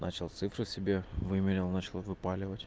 начал цифры себе выменял начал выпаливать